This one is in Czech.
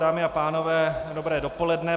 Dámy a pánové, dobré dopoledne.